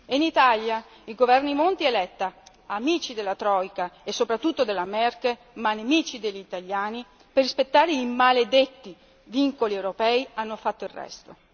In Italia, i governi Monti e Letta, amici della troika e soprattutto della Merkel, ma nemici degli italiani, per rispettare i maledetti vincoli europei hanno fatto il resto.